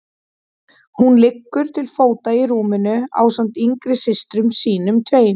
Hún liggur til fóta í rúminu ásamt yngri systrum sínum tveim.